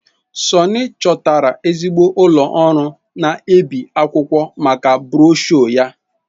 Sunny chọtara ezigbo ụlọ ọrụ na-ebi akwụkwọ maka broshuọ ya.